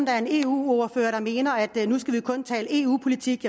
er en eu ordfører der mener at nu skal vi kun tale eu politik